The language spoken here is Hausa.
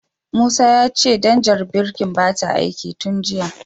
Musa ya ce danjar birkin bata aiki tin jiya.